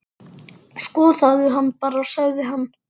Skoðaðu hana bara, sagði hann.